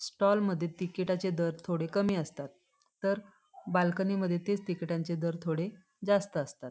Stall मध्ये तिकिटाचे दर थोडे कमी असतात तर बाल्कनीमद्धे तेच तिकिटांचे दर थोडे जास्त असतात.